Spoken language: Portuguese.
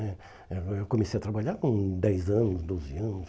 né Eh eu comecei a trabalhar com dez anos, doze anos.